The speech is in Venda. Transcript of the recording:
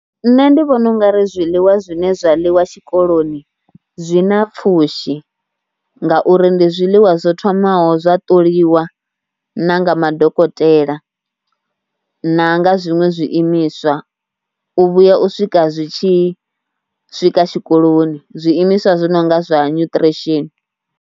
Nṋe ndi vhona u nga ri zwiḽiwa zwine zwa ḽiwa tshikoloni zwi na pfhushi ngauri ndi zwiḽiwa zwo thomaho zwa ṱoliwa na nga madokotela. Na nga zwiṅwe zwiimiswa, u vhuya u swika zwi tshi swika tshikoloni, zwiimiswa zwi no nga zwa nutrition.